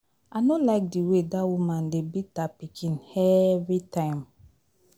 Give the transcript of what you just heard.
I no like the way dat woman dey beat her pikin every time